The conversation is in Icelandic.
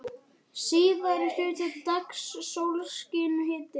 Síðari hluta dags sólskin og hiti.